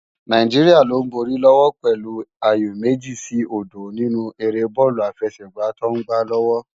Náijiriá ló n bóri lòwò pèlú àyó mèji si ódó ninú éré bòlú àfèsègbá tò n gbá lòwò